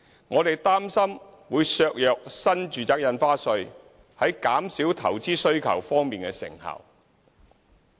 我們擔心，這建議會削弱新住宅印花稅在減少投資需求方面的成效。